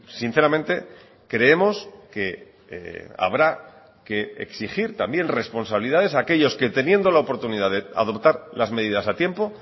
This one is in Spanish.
sinceramente creemos que habrá que exigir también responsabilidades a aquellos que teniendo la oportunidad de adoptar las medidas a tiempo